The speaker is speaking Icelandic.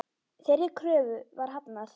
Þeirri kröfu var hafnað.